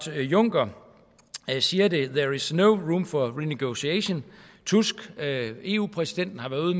juncker siger there is no room for renegotiation tusk eu præsidenten har været ude